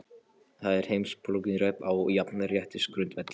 Þar er heimspólitíkin rædd á jafnréttisgrundvelli.